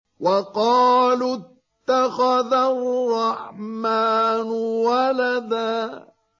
وَقَالُوا اتَّخَذَ الرَّحْمَٰنُ وَلَدًا